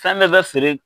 Fɛn bɛɛ bɛ feere